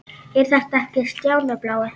Er þetta ekki Stjáni blái?!